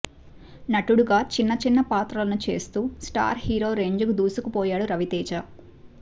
నటుడిగా చిన్న చిన్న పాత్రలను చేస్తూ స్టార్ హీరో రేంజ్కు దూసుకుపోయాడు రవితేజ